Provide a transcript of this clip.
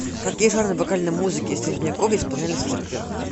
какие жанры вокальной музыки средневековья исполнялись в церквях